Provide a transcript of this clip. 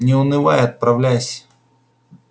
не унывай и отправляйся